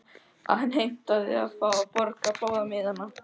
Hann heimtaði að fá að borga báða miðana.